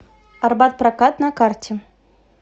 арбат прокат на карте